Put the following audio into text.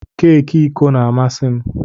Keki iko na-amasị m.